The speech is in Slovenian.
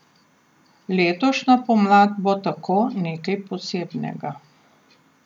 Letošnja pomlad bo tako nekaj posebnega.